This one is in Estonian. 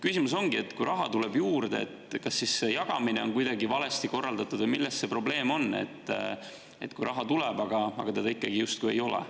Küsimus ongi, et kui raha tuleb juurde, siis kas selle jagamine on kuidagi valesti korraldatud, või milles see probleem on, kui raha küll tuleb, aga seda ikkagi justkui ei ole.